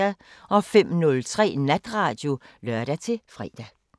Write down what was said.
05:03: Natradio (lør-fre)